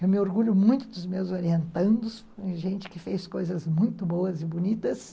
Eu me orgulho muito dos meus orientandos, gente que fez coisas muito boas e bonitas.